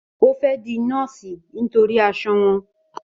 Ó fẹ́ di Nọ́ọ̀sì nítorí aṣọ wọn.